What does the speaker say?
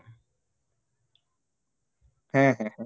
হ্যাঁ, হ্যাঁ, হ্যাঁ